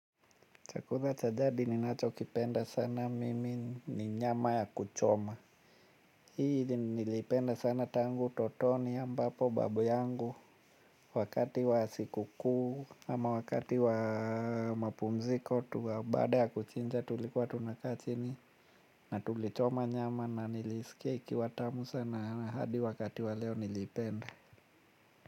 Chakula cha jadi ninachokipenda sana mimi ni nyama ya kuchoma. Hii niliipenda sana tangu utotoni ambapo babu yangu. Wakati wa sikukuu ama wakati wa mapumziko tuwa baada ya kuchinja, tulikuwa tunakaa chini na tulichoma nyama na nilisikia ikiwa tamu sana hadi wakati wa leo niliipenda.